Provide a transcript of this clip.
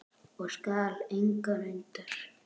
og skal engan undra.